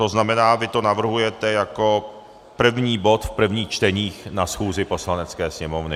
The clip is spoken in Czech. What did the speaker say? To znamená, vy to navrhujete jako první bod v prvních čteních na schůzi Poslanecké sněmovny.